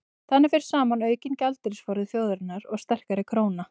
þannig fer saman aukinn gjaldeyrisforði þjóðarinnar og sterkari króna